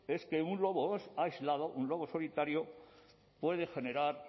es que un lobo aislado un lobo solitario puede generar